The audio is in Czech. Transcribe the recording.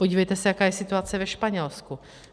Podívejte se, jaká je situace ve Španělsku.